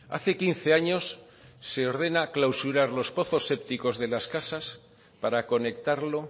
hace quince años se ordena clausurar los pozos sépticos de las casas para conectarlo